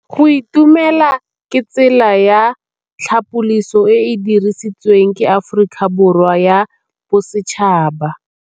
Go itumela ke tsela ya tlhapolisô e e dirisitsweng ke Aforika Borwa ya Bosetšhaba.